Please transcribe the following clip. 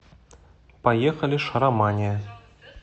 поехали шаромания